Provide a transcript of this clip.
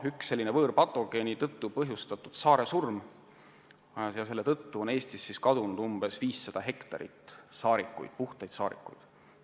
Üks võõrpatogeen põhjustas saaresurma ja seetõttu on Eestis kadunud umbes 500 hektarit puhtaid saarikuid.